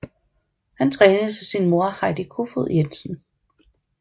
Han trænes af sin mor Heidi Kofod Jensen